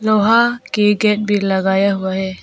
लोहा के गेट भी लगाया हुआ है।